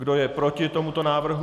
Kdo je proti tomuto návrhu?